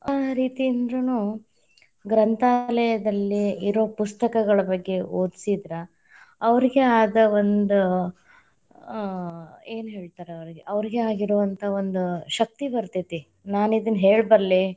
ಆ ರೀತಿಯಿಂದ್ರುನು ಗ್ರಂಥಾಲಯದಲ್ಲಿ ಇರೋ ಪುಸ್ತಕಗಳ ಬಗ್ಗೆ ಓದ್ಸಿದ್ರ, ಅವರಿಗೆ ಆದ ಒಂದ ಆ ಏನ್‌ ಹೇಳ್ತಾರೆ ಅವ್ರೀಗೆ ಅವ್ರೀಗೆ ಆಗಿರೊವಂಥ ಒಂದ ಶಕ್ತಿ ಬತೇ೯ತಿ, ನಾನಿದನ್‌ ಹೇಳಬಲ್ಲೆ.